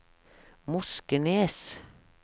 Moskenes